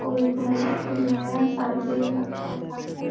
और इधर एक सारे बैग रखा हुआ है |